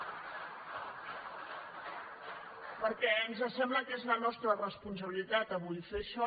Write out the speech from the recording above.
perquè ens sembla que és la nostra responsabilitat avui fer això